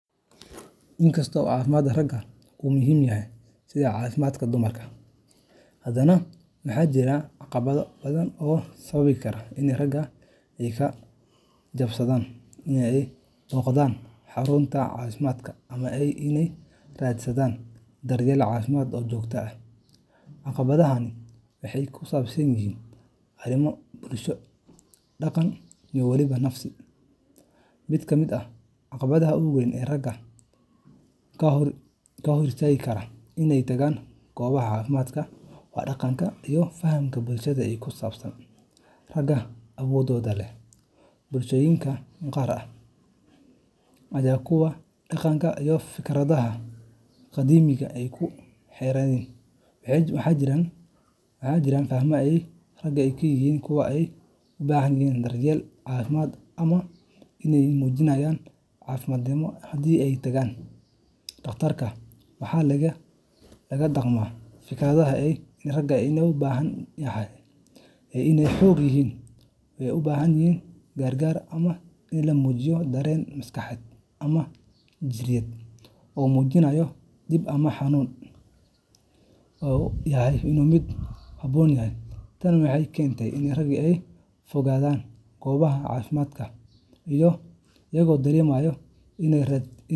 Inkasta oo caafimaadka ragga uu muhiim yahay sidii caafimaadka dumarka, haddana waxaa jira caqabado badan oo sababi kara in ragga ay ka gaabsadaan inay booqdaan xarumaha caafimaadka ama inay raadsadaan daryeel caafimaad oo joogto ah. Caqabadahani waxay ku saabsan yihiin arrimo bulsho, dhaqan, iyo weliba nafsi. Mid ka mid ah caqabadaha ugu weyn ee ragga ka hortagi kara inay tagaan goobaha caafimaadka waa dhaqanka iyo fahamka bulshada ee ku saabsan "ragga awoodda leh." Bulshooyinka qaar, gaar ahaan kuwa. dhaqamada iyo fikradaha qadiimiga ah ee ku xeeran, waxaa jirta faham ah in ragga ay yihiin kuwa aan u baahnayn daryeel caafimaad ama inay muujinayaan daciifnimo haddii ay tagaan dhakhtarka. Waxaa lagu dhaqmaa fikradaha ah in ragga loo baahan yahay inay xooggan yihiin, aan u baahnayn gargaar, ama in la muujiyo dareen maskaxeed ama jireed oo muujinaya dhib ama xanuun uu yahay mid aan u habboonayn. Tani waxay keentaa in ragga ay ka fogaadaan goobaha caafimaadka. iyagoo dareemaya iney raadsi.